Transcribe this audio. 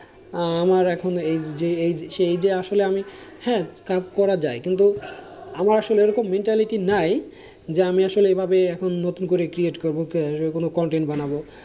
আমার এখন এই এই যে এই যে আসলে আমি হেঁ কাজ করা যায় কিন্তু আমার আসলে ওরকম mentality নাই যে আমি আসলে এইভাবে নতুন করে create করব content বানাবো,